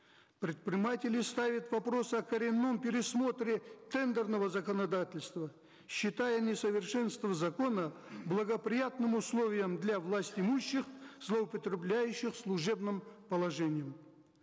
предприниматели ставят вопрос о коренном пересмотре тендерного законодательства считая несовершенство закона благоприятным условием для власть имущих злоупотребляющих служебным положением